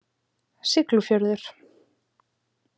Siglufjörður